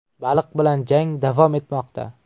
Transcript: Baliq bilan jang davom etmoqda.